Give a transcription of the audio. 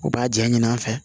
U b'a ja ɲini an fɛ